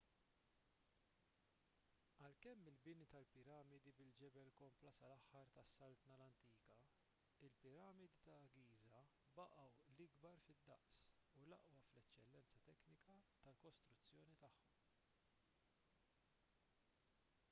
għalkemm il-bini tal-piramidi bil-ġebel kompla sal-aħħar tas-saltna l-antika il-piramidi ta' giża baqgħu l-ikbar fid-daqs u l-aqwa fl-eċċellenza teknika tal-kostruzzjoni tagħhom